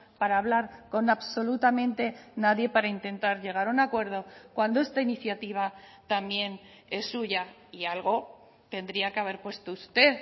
para hablar con absolutamente nadie para intentar llegar a un acuerdo cuando esta iniciativa también es suya y algo tendría que haber puesto usted